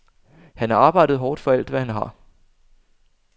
Han har arbejdet hårdt for alt, hvad han har.